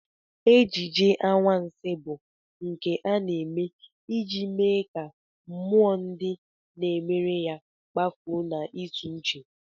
Ejije anwansị bụ nke a na-eme iji mee ka mmụọ ndị na-emere ya kpafuo n'ịtụuche